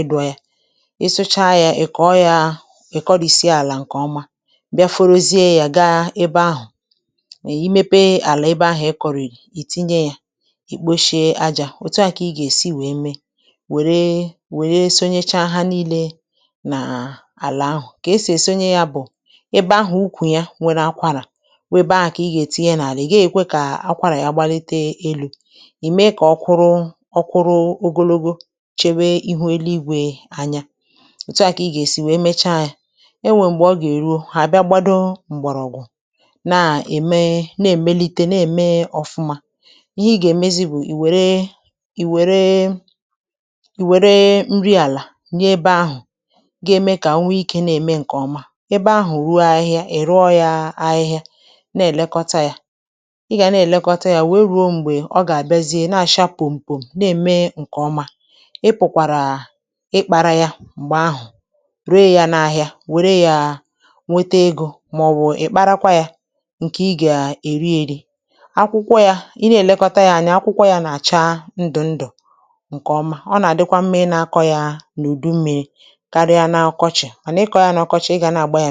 ịdụ̇ yȧ, ị sụcha yȧ ị̀ kọ̀ọ yȧ ị̀ kọrìsie àlà ǹkè ọma bịa forozie yȧ gaa ebe ahụ̀, i mepe àlà ebe ahụ̀ ị kọ̀ròrì ì tinye yȧ ì kposhie ajȧ òtu à kà ị gà-èsi wèe mee wère wère sonyecha ha niile na ala ahụ, ka esi sonyé ya bụ ebe ahụ̀ ukwù ya nwere akwarà, wu ebe ahụ kà ị gà-ètinye n’àlà ị̀ gàghi-èkwe kà akwarà ya gbalite elu̇, ì mee kà ọ kwuru ọkwụrụ ogologo chewee ihu elu̇ igwè anya, òtù a kà ị gà-èsi wèe mecha yȧ, e nwèe m̀gbè ọ gà-èruo hà bịa gbado m̀gbọ̀rọ̀gwụ̀ na-ème na-èmelite na-ème ọ̀fụma, ihe ị gà-èmezi bụ̀ ì wère ì wère ì wère nri àlà nye ebe ahụ̀ ga-eme ka ọ nwe ike na-eme nke ọma, ebe ahụ̀ ruo ahịhịa è rụọ yȧ ahịhịa na-èlekọta yȧ, ị gà na-èlekọta yȧ wee ruo m̀gbè ọ gà-àbịazie na-àcha pùmpùm na-ème ǹkè ọma, ị pụ̀kwàrà ịkpȧrȧ yȧ m̀gbè ahụ̀ ree yȧ n’ahịa wère yȧ nwete egȯ màọbụ̀ ị̀ kparakwa yȧ ǹkè ị gà-èri ėri̇ akwụkwọ yȧ i na-èlekọta yȧ anya akwụkwọ yȧ nà-àcha ndù ndù ǹkè ọma, ọ nà-àdịkwa mma ị na-akọ̇ yȧ n’ùdu mmi̇ri̇ karịa N’ọkọchị mana ị kọọ ya n’ọkọchị, ị ga na-agba ya